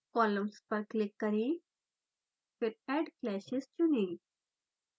columns पर click करें फिर add clashes चुनें